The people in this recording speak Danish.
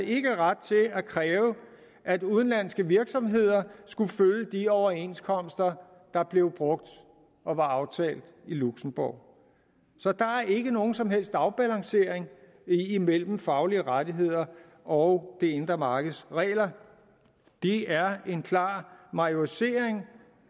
ret til at kræve at udenlandske virksomheder skulle følge de overenskomster der blev brugt og var aftalt i luxembourg så der er ikke nogen som helst afbalancering imellem faglige rettigheder og det indre markeds regler det er en klar majorisering